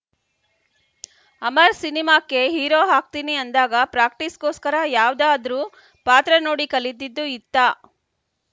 ಅಮರ್‌ ಸಿನಿಮಾಕ್ಕೆ ಹೀರೋ ಹಾಗ್ತೀನಿ ಅಂದಾಗ ಪ್ರಾಕ್ಟಿಸ್‌ಗೋಸ್ಕರ ಯಾವ್ದಾದ್ರೂ ಪಾತ್ರ ನೋಡಿ ಕಲಿತಿದ್ದು ಇತ್ತಾ